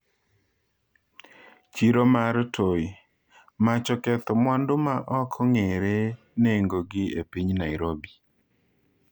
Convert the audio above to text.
Chiro mar Toi: Mach oketho mwandu ma ok ong'ere nengogi e piny Nairobi